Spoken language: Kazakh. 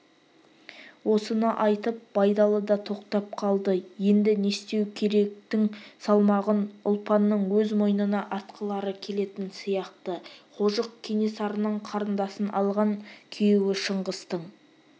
осыны айтып байдалы да тоқтап қалды енді не істеу керектің салмағын ұлпанның өз мойнына артқылары келетін сияқты қожық кенесарының қарындасын алған күйеуі шыңғыстың